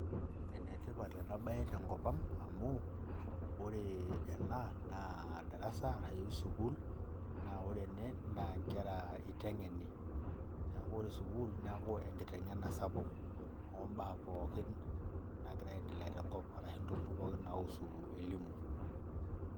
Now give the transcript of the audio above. enetipat ena bae tenkop ang amu ore ana na darasa arashu sukuul. naa ore ene naa nkera eitengeni, neeku ore sukuul neeku enkitengena sapuk obaa pookin naagira aendelea tenkop arashu ntokitin pookin naiusu elimu.